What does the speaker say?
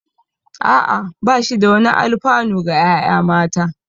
Ah ah, ba shi da wani alfanu ga ƴaƴa mata